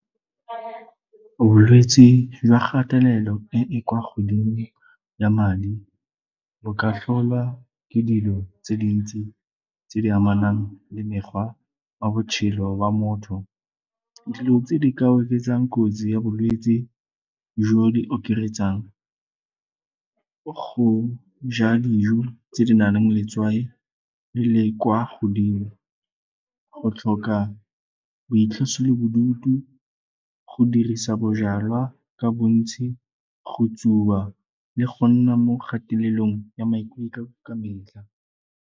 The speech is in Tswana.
Bolwetsi jwa kgatelelo e e kwa godimo ya madi bo ka tlholwa ke dilo tse dintsi tse di amanang le mekgwa wa botshelo wa motho. Dilo tse di ka oketsang kotsi ya bolwetsi jo di okaretsang go ja dijo tse di nang le mo letswai le le kwa godimo, go tlhoka boitlosobodutu go dirisa bojalwa ka bontsi, go tsuba le go nna mo kgatelelong ya maikutlo ka metlha.